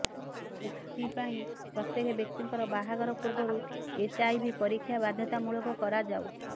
ଏଥିପାଇଁ ପ୍ରତ୍ୟେକ ବ୍ୟକ୍ତିଙ୍କର ବାହାଘର ପୂର୍ବରୁ ଏଚ୍ଆଇଭି ପରୀକ୍ଷା ବାଧ୍ୟତାମୂଳକ କରାଯାଉ